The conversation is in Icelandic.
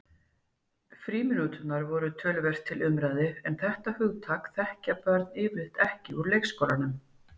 Frímínúturnar voru töluvert til umræðu en þetta hugtak þekkja börn yfirleitt ekki úr leikskólanum.